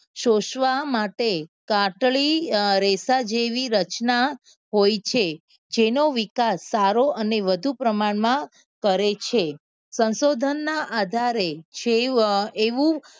સોસવા માટે કાસડી રેસા જેવી રચના હોય છે. જેનો વિકાસ સારો અને વધુ પ્રમાણમાં કરે છે. સંશોધનના આધારે જે એવું